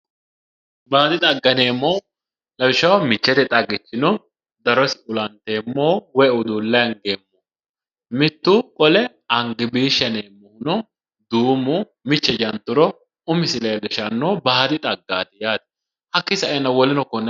Baadi xagga yinneemmohu lawishshaho michete xaggichi no, darosi ulanteemmoho woyi udulle angeemmoho mitu qole angibisha yinneemmoho no, duumu miche janturo umisi leelishano baadi xaggati yaate, hakkinni saenna woleno konne lawanore.